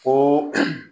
Ko